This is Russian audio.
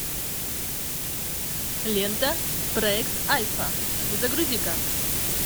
лента проект альфа загрузи ка